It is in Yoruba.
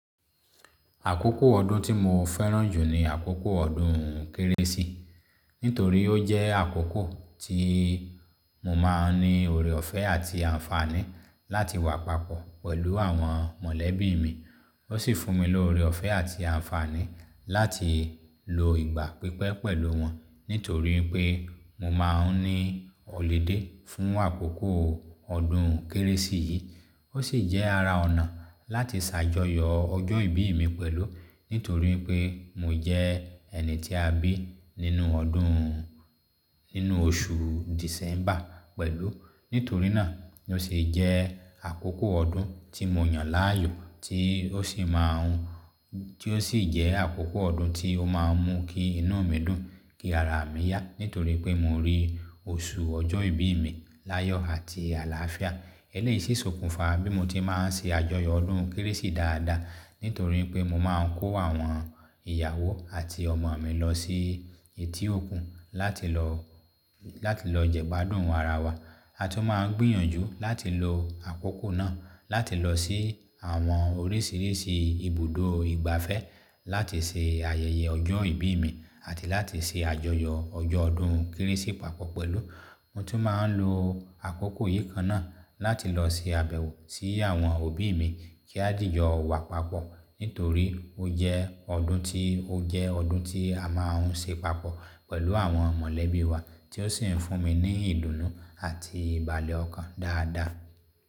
Àkókò ọdún tí mo fẹ́ràn jù ni àkókò ọdún kérésì. Nítorí ó jẹ́ àkókò tí mo máa ń ní oore ọ̀fẹ́ àti àǹfààní láti wà papọ̀ pẹ̀lú àwọn mọ̀lẹ́bí mi. Ó sì fún mi ní oore ọ̀fẹ́ àti àǹfààní láti lo ìgbà pípẹ́ pẹ̀lú wọn. Nítorí pé mo máa ń ní ọ̀ludé fún àkókò ọdún kérésì yìí. Ó sì jẹ́ ara ọ̀nà láti ṣàjọyọ̀ ọjọ́ ìbí mi pẹ̀lú. Nítorí pé mo jẹ́ ẹni tí a bí nínú ọdún, nínú oṣù December pẹ̀lú. Nítorí náà ó sì jẹ́ àkókò ọdún tí mo yàn láàyò, tí ó sì má a ń, tí ó sì jẹ́ àkókò ọdún tí ó máa ń mú kí inú mi dùn, kí ara mi yá. Nítorí pé mo rí oṣù ọjọ́ ìbí mi láyọ̀ àti àlàáfíà. Eléyi si sókunfa bí mo ti máa ń ṣe àjọyọ̀ ọdún kérésì dáadáa. Nítorí pé mo máa ń kó àwọn ìyàwó àti ọmọ mi lọ sí etí òkun láti lọ, jẹgbádùn ara wa. A tún máa ń gbìyànjú láti lo àkókò náà láti lọ sí àwọn oríṣìíríṣìí ibùdó ìgbafẹ́ láti ṣe ayẹyẹ ọjọ́ ìbí mi àti láti ṣe àjọyọ̀ ọjọ́ ọdún kérésì papọ̀ pẹ̀lú. Mo tún máa ń lo àkókò yìí kan náà láti lọ ṣe àbẹ̀wò sí àwọn òbí mi kí á dìyọ wà papọ̀. Nítorí ó jẹ́ ọdún tí, a máa ń ṣe papọ̀ pẹ̀lú àwọn mọ̀lẹ́bí wa tí ó sì ń fún mi ní ìdùnnú àti ìbàlé ọkàn dáadáa.